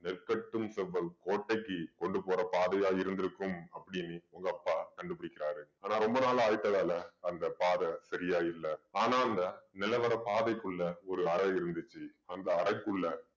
கோட்டைக்கு கொண்டு போற பாதையா இருந்திருக்கும் அப்படீன்னு உங்க அப்பா கண்டு பிடிக்கிறாரு. ஆனா ரொம்ப நாளா ஆயிட்டதால அந்த பாதை சரியா இல்ல. ஆனா அந்த நிலவறை பாதைக்குள்ள ஒரு அறை இருந்துச்சு. அந்த அறைக்குள்ள